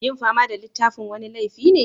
Yin fama da littafin wani laifi ne?